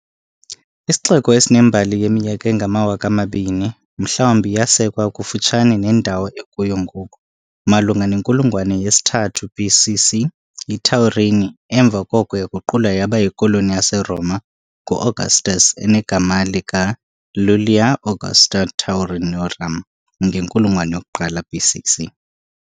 Isixeko esinembali yeminyaka engamawaka amabini, mhlawumbi yasekwa kufutshane nendawo ekuyo ngoku, malunga nenkulungwane yesi-3 BC.C., yiTaurini, emva koko yaguqulwa yaba yikoloni yaseRoma ngu- Augustus enegama lika- "Iulia Augusta Taurinorum" ngenkulungwane yoku-1 BC.C..